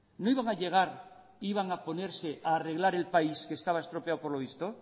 no iban a llegar e iban a ponerse a reglar el país que estaba estropeado por lo visto